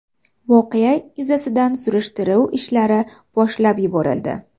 Voqea yuzasidan surishtiruv ishlari boshlab yuborildi.